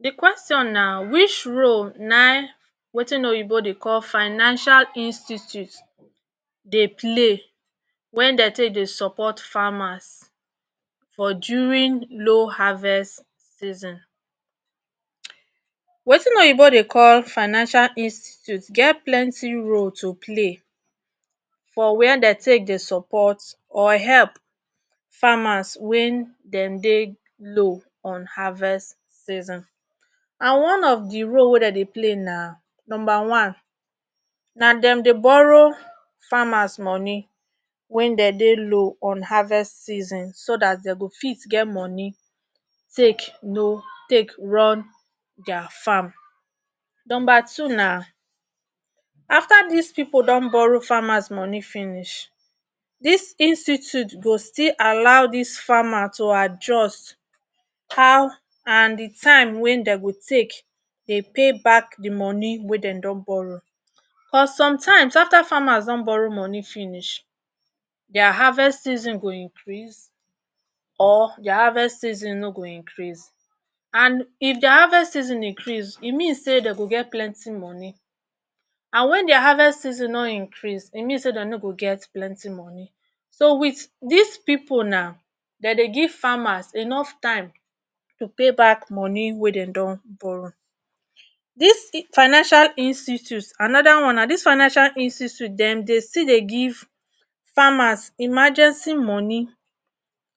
De question na which role na ein wetin oyinbo dey call financial institute dey play when dey take dey support farmers for during low harvest season. Wetin oyinbo dey call financial institute get plenty role to play for where dem take dey support or help farmers when dem dey low on harvest season. And one of de role wey dem dey play na number one na dem dey borrow farmers money when dem dey low on harvest season so dat dem go fit get money take um run der farm. Number two na after dis pipu don borrow farmers money finish dis institute go still allow dis farmers to adjust how and de time wey dem go take dey pay back de money wey dem don borrow. But sometimes after farmers don borrow money finish der harvest season go increase or der harvest season no go increase. And if der harvest season increase e mean sey dem go get plenty money and wen der harvest season no increase e mean sey dem no go get plenty money. So with dis pipu now dem go give farmer enough time to pay back money wey dem don borrow. Dis financial institute anoda one na dis financial institute dem dey still dey give farmers emergency money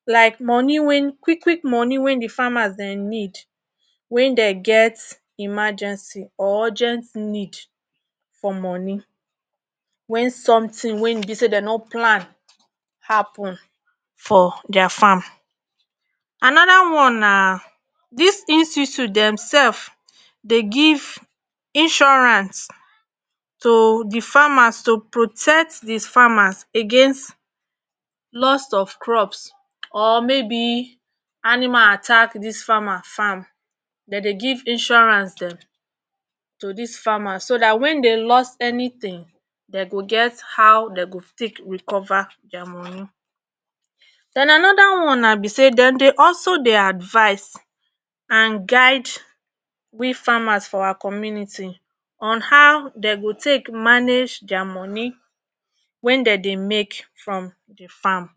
like money wey quick quick money wey de farmer dem need when dem get emergency or urgent need for money when something wey e be sey dem no plan happen for der farm. anoda one na dis institute dem self dey give insurance to de farmers to protect dis farmers against lost of crops or maybe animal attack dis farmer farm dem dey give insurance dem to dis farmers so dat when dey lost anything dem go get how to take recover der money. Den anoda one be sey dem dey also dey advice and guide we farmers for our community on how dem go take manage der money wey dem dey make from de farm.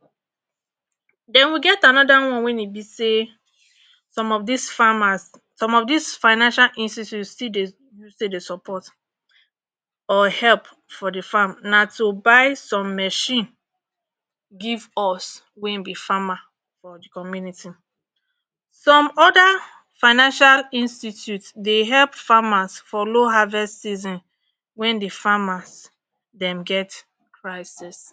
Den we get anoda one wey e be sey some of dis farmers, some of dis financial institute still dey take dey support or help for de farm na to buy some mechine give us wey e be farmer for de community. Some oda financial institute dey help farmers for low harvest season wen de farmers dem get crises.